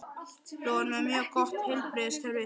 Við erum með mjög gott heilbrigðiskerfi.